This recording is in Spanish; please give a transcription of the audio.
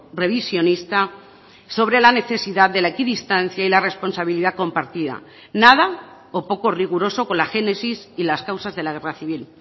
revisionista sobre la necesidad de la equidistancia y la responsabilidad compartida nada o poco riguroso con la génesis y las causas de la guerra civil